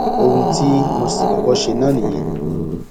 ohun tí mo sì kọkọ ṣe náà nìyẹn